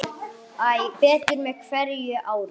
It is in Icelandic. Æ betur með hverju ári.